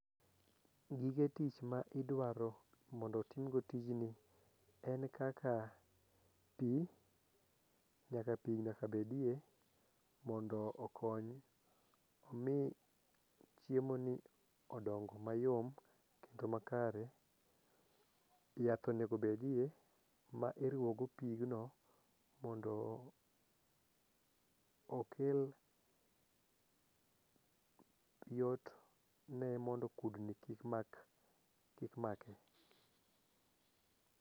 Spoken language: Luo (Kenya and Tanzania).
Gige tich ma idwaro mondo otimgo tijni en kaka pi, nyaka pi nyaka bedie mondo okony mi chiemoni odong mayom kendo makare. Yath onego bedie ma iruwogo pigno mondo okel yot ne mondo kudni kik make.